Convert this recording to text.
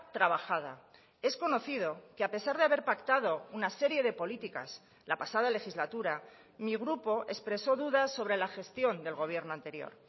trabajada es conocido que a pesar de haber pactado una serie de políticas la pasada legislatura mi grupo expresó dudas sobre la gestión del gobierno anterior